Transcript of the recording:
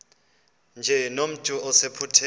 nje nomntu osephupheni